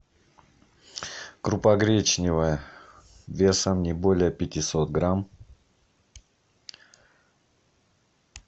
крупа гречневая весом не более пятисот грамм